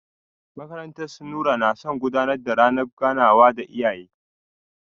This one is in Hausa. Makarantar su Nura na gudanar da ranar ganawa da iyaye.